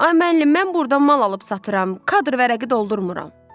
Ay müəllim, mən burda mal alıb satıram, kadr vərəqi doldurmuram.